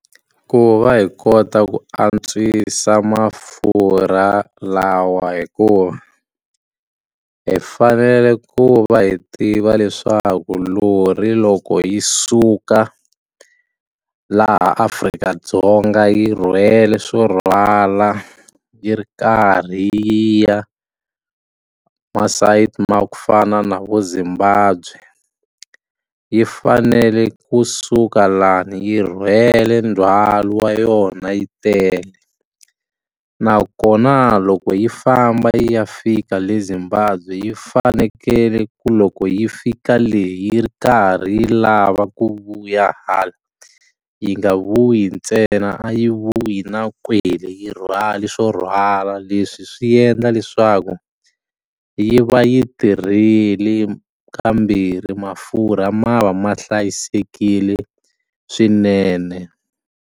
Ku va hi kota ku antswisa mafurha lawa hi ku hi fanele ku va hi tiva leswaku lori loko yi suka laha Afrika-Dzonga yi rhwele swo rhwala yi ri karhi yi ya masayiti ma ku fana na vo Zimbabwe yi fanele kusuka lani yi rhwele ndzhwalo wa yona yi tele nakona loko yi famba yi ya fika le Zimbabwe yi fanekele ku loko yi fika leyi ri karhi yi lava ku vuya hala yi nga vuyi ntsena a yi vuyi na kwele yi rhwale swo rhwala leswi swi endla leswaku yi va yi tirhile ka mbirhi mafurha ma va ma hlayisekile swinene.